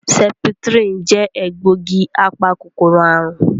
Sẹ́pítírínì jẹ egbògi apa-kòkòrò àrùn